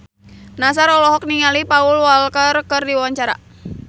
Nassar olohok ningali Paul Walker keur diwawancara